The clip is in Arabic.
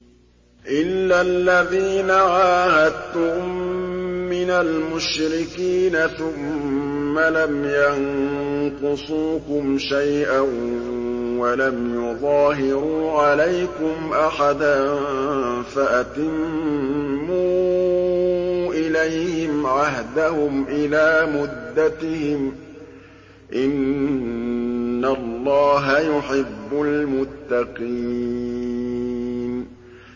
إِلَّا الَّذِينَ عَاهَدتُّم مِّنَ الْمُشْرِكِينَ ثُمَّ لَمْ يَنقُصُوكُمْ شَيْئًا وَلَمْ يُظَاهِرُوا عَلَيْكُمْ أَحَدًا فَأَتِمُّوا إِلَيْهِمْ عَهْدَهُمْ إِلَىٰ مُدَّتِهِمْ ۚ إِنَّ اللَّهَ يُحِبُّ الْمُتَّقِينَ